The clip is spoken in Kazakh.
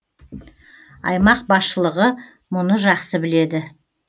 аймақ басшылығы мұны жақсы біледі